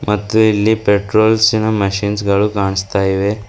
ಮತ್ತು ಇಲ್ಲಿ ಪರ್ಟೋಲ್ಸಿನ್ ಮೆಷಿನ್ ಗಳು ಕಾಣ್ಸ್ತ ಇವೆ.